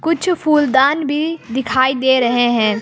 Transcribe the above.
कुछ फूलदान भी दिखाई दे रहे हैं।